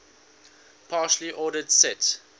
partially ordered set